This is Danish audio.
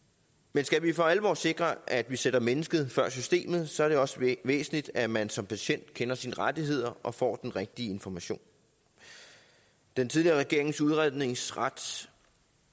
men skal vi for alvor sikre at vi sætter mennesket før systemet så er det også væsentligt at man som patient kender sine rettigheder og får den rigtige information den tidligere regerings udredningsret